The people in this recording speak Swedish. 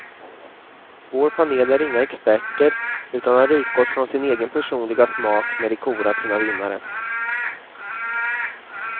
Vår panel är inga experter utan har utgått från sin egen personliga smak när de korat sina vinnare.